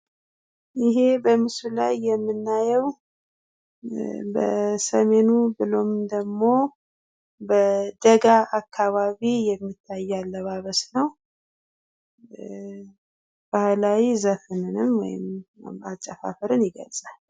ይሄ በምስሉ ላይ የምናየው ኧ ..በሰሜኑ ቤሎም ደሞ በደጋ አካባቢ የሚታይ አለባበስ ነው። ኧ..ባህላዊ ዘፈንንም ወይም አጨፋፍርን ይገልፃል።